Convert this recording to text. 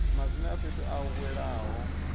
madzina a fhethu a welaho